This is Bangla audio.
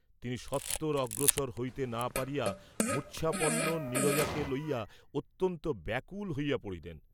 তিনি সত্বর অগ্রসর হইতে না পারিয়া মূর্চ্ছাপন্ন নীরজাকে লইয়া অত্যন্ত ব্যাকুল হইয়া পড়িলেন।